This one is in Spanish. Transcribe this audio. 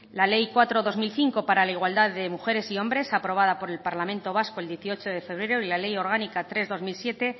la ley cuatro barra dos mil cinco para la igualdad de mujeres y hombres aprobada por el parlamento vasco el dieciocho de febrero y la ley orgánica tres barra dos mil siete